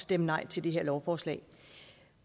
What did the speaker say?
stemme nej til det her lovforslag